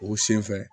O sen fɛ